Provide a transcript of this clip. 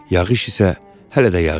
Yağış isə hələ də yağır.